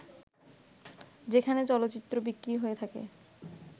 যেখানে চলচ্চিত্র বিক্রি হয়ে থাকে